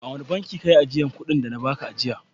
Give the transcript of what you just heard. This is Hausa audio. A wane bankin ka yi ajiyar kuɗin da na ba ka jiya?